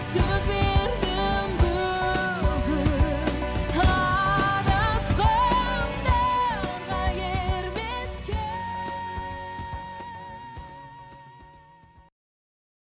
сөз бердім бүгін адасқандарға ермеске